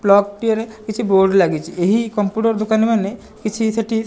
plug ଟିଏ ରେ କିଛି ବୋର୍ଡ ଲାଗିଚି ଏହି କମ୍ପୁଟର ଦୋକାନ ମାନେ କିଛି ସେଠି --